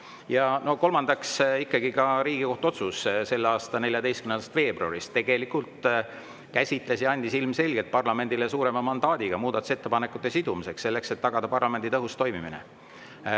Ja kolmandaks, Riigikohtu otsus selle aasta 14. veebruarist käsitles ja andis ilmselgelt parlamendile suurema mandaadi muudatusettepanekute sidumiseks, selleks et tagada parlamendi tõhus toimimine.